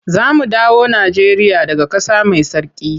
Za mu dawo Najeriya daga ƙasa mai tsarki.